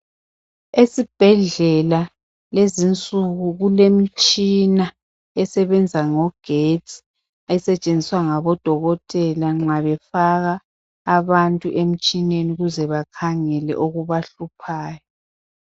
Esibhedlela lezinsuku kulemtshina esebenza ngogetsi esetshenziswa ngabodokotela nxa befaka abantu emtshineni ukuze bakhangele okubahluphayo.